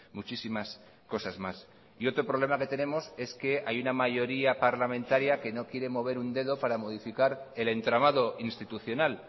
muchísimas cosas más y otro problema que tenemos es que hay una mayoría parlamentaria que no quiere mover un dedo para modificar el entramado institucional